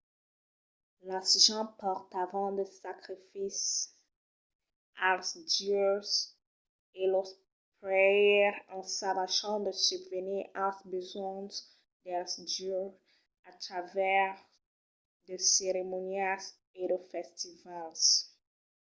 las gents portavan de sacrificis als dieus e los prèires ensajavan de subvenir als besonhs dels dieus a travèrs de ceremonias e de festivals